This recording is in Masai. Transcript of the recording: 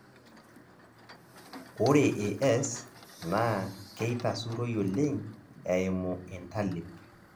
Ore AS naa keitasuroi oleng eimu intalip.